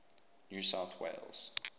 new south wales